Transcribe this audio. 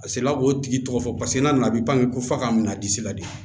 A sela k'o tigi tɔgɔ fɔ paseke n'a nana bi ko fa ka minɛ disi la de